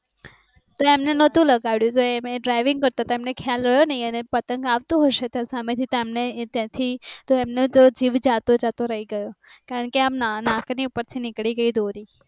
તો એમને નહોતુ લગાડયુ તો એ આમ ડ્રાઈવીંગ કરતા હતા એમને ખ્યાલ રહ્યો નહી અને પતંગ આવતો હશે સામેથી આમ ના ત્યાંથી તો એમનો તો જીવ જાતો જાતો રહી ગયો કારણ કે આમ ન નાક ની ઉપરથી નીકળી ગઈ દોરી